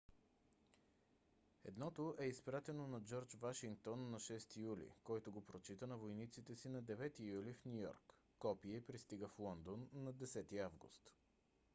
едното е изпратено на джордж вашингтон на 6 юли който го прочита на войниците си на 9 юли в ню йорк. копие пристига в лондон на 10 август